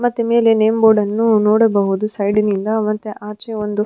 ಮತ್ತೆ ಮೇಲೆ ನೇಮ್ ಬೋರ್ಡನ್ನು ನೋಡಬಹುದು ಸೈಡಿನಿಂದ ಮತ್ತೆ ಆಚೆ ಒಂದು --